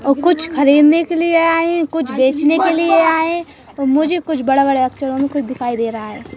और कुछ खरीदने के लिए आए हैं कुछ बेचने के लिए आए हैं मुझे कुछ बड़े बड़े अक्षरों में कुछ दिखाई दे रहा है।